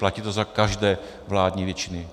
Platí to za každé vládní většiny.